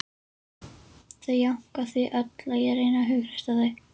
Þau jánka því öll og ég reyni að hughreysta þau